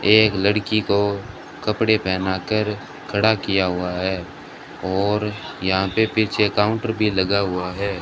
एक लड़की को कपड़े पहना कर खड़ा किया हुआ है और यहां पे पीछे काउंटर भी लगा हुआ है।